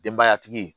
Denbayatigi